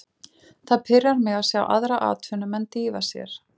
Það pirrar mig að sjá aðra atvinnumenn dýfa sér.